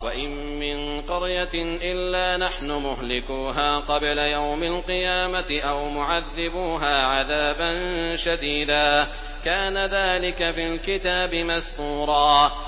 وَإِن مِّن قَرْيَةٍ إِلَّا نَحْنُ مُهْلِكُوهَا قَبْلَ يَوْمِ الْقِيَامَةِ أَوْ مُعَذِّبُوهَا عَذَابًا شَدِيدًا ۚ كَانَ ذَٰلِكَ فِي الْكِتَابِ مَسْطُورًا